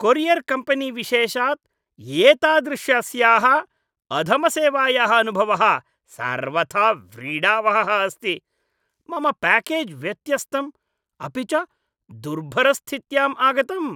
Courier कम्पेनीविशेषात् एतादृशस्याः अधमसेवायाः अनुभवः सर्वथा व्रीडावहः अस्ति, मम प्याकेज् व्यत्यस्तं, अपि च दुर्भरस्थित्यां आगतम्।